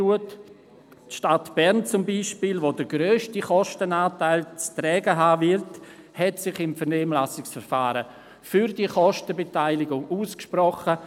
Die Stadt Bern zum Beispiel, die den grössten Kostenanteil wird tragen müssen, hat sich im Vernehmlassungsverfahren für diese Kostenbeteiligung ausgesprochen.